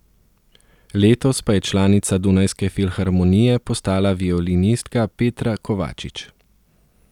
Letos pa je članica Dunajske filharmonije postala violinistka Petra Kovačič.